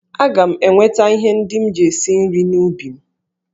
Aga m eweta ihe ndị m ji esi nri n'ubi m.